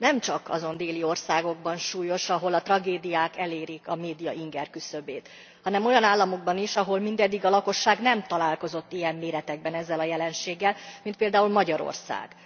Nemcsak azon déli országokban súlyos, ahol a tragédiák elérik a média ingerküszöbét, hanem olyan államokban is, ahol mindeddig a lakosság nem találkozott ilyen méretekben ezzel a jelenséggel, mint például Magyarországon.